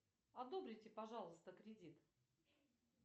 одобрите пожалуйста кредит